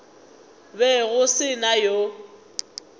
be go se na yo